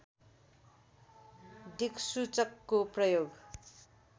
दिक्सूचकको प्रयोग